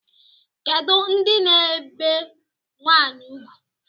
Kedu ndị na-ebe nwanyị ugwu?